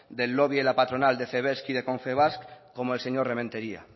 del lobby en la patronal de cebek y de confebask como el señor rementeria